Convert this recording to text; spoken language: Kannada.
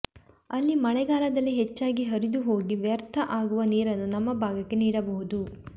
ಅಲ್ಲಿ ಮಳೆಗಾಲದಲ್ಲಿ ಹೆಚ್ಚಾಗಿ ಹರಿದು ಹೋಗಿ ವ್ಯರ್ಥ ಅಗುವ ನೀರನ್ನು ನಮ್ಮ ಭಾಗಕ್ಕೆ ನೀಡಬಹುದು